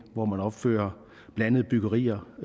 opfører blandede byggerier